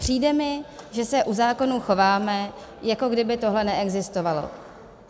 Přijde mi, že se u zákonů chováme, jako kdyby tohle neexistovalo.